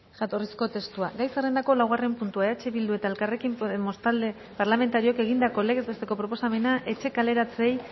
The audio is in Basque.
jatorrizko testua gai zerrendako laugarren puntua eh bildu eta elkarrekin podemos talde parlamentarioek egindako legez besteko proposamena etxe kaleratzeei